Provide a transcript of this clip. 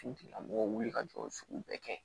Finitigilamɔgɔw wuli ka jɔ sugu bɛɛ kɛ